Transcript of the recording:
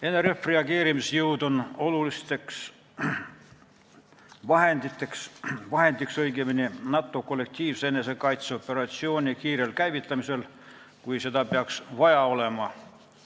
NRF-i reageerimisjõud on oluline vahend NATO kollektiivse enesekaitse operatsiooni kiirel käivitamisel, kui seda peaks vaja olema.